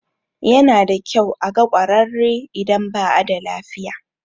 Yana da kyau a ga ƙwararre idan ba a da lafiya.